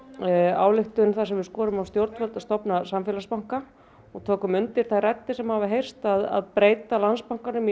ályktun þar sem við skorum á stjórnvöld að stofna samfélagsbanka og tókum undir þær raddir sem hafa heyrst að breyta Landsbankanum í